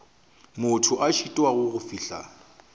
motho a šitwago go fihla